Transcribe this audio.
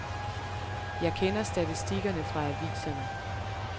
Jeg kender statistikkerne fra aviserne.